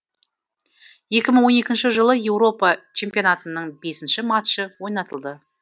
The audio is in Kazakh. екі мың он екінші жылғы еуропа чемпионатының бесінші матчы ойнатылды